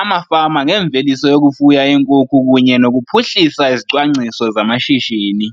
amafama ngemveliso yokufuya iinkukhu kunye nokuphuhlisa izicwangciso zamashishini